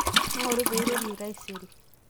ingoru pee airorie taisere